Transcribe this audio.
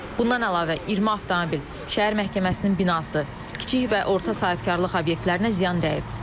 Bundan əlavə 20 avtomobil, şəhər məhkəməsinin binası, kiçik və orta sahibkarlıq obyektlərinə ziyan dəyib.